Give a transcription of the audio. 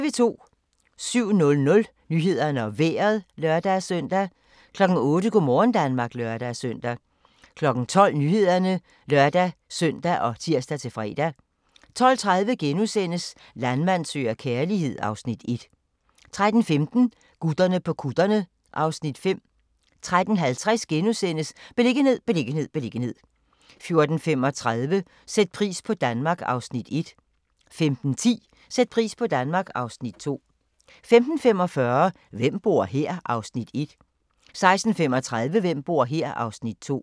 07:00: Nyhederne og Vejret (lør-søn) 08:00: Go' morgen Danmark (lør-søn) 12:00: Nyhederne (lør-søn og tir-fre) 12:30: Landmand søger kærlighed (Afs. 1)* 13:15: Gutterne på kutterne (Afs. 5) 13:50: Beliggenhed, beliggenhed, beliggenhed * 14:35: Sæt pris på Danmark (Afs. 1) 15:10: Sæt pris på Danmark (Afs. 2) 15:45: Hvem bor her? (Afs. 1) 16:35: Hvem bor her? (Afs. 2)